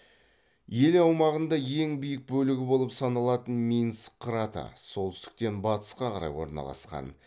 ел аумағында ең биік бөлігі болып саналатын минск қыраты солтүстіктен батысқа қарай орналасқан